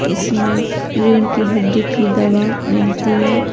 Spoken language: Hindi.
इसमें रीढ़ की हड्डी की दवा मिलती है।